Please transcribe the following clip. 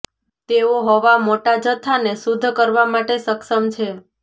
તેઓ હવા મોટા જથ્થાને શુદ્ધ કરવા માટે સક્ષમ છે